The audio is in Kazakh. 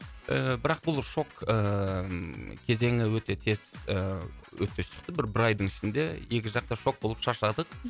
ыыы бірақ бұл шок ыыы кезеңі өте тез ыыы өте шықты бір бір айдың ішінде екі жақ та шок болып шаршадық